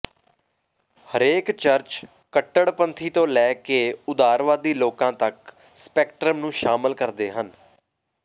ਹਰੇਕ ਚਰਚ ਕੱਟੜਪੰਥੀ ਤੋਂ ਲੈ ਕੇ ਉਦਾਰਵਾਦੀ ਲੋਕਾਂ ਤੱਕ ਸਪੈਕਟ੍ਰਮ ਨੂੰ ਸ਼ਾਮਲ ਕਰਦੇ ਹਨ